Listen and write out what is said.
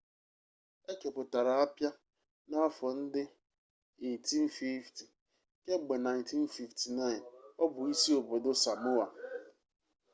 e kepụtara apịa n'afọ ndị 1850 kemgbe 1959 ọ bụ isi obodo samoa